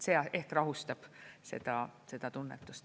See ehk rahustab seda seda tunnetust.